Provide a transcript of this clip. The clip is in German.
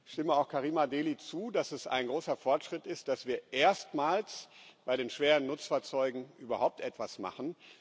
Ich stimme auch Karima Delli zu, dass es ein großer Fortschritt ist, dass wir erstmals bei den schweren Nutzfahrzeugen überhaupt etwas machen.